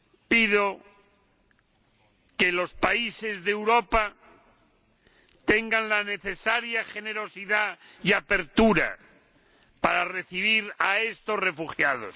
pido que los países de Europa tengan la necesaria generosidad y apertura para recibir a estos refugiados!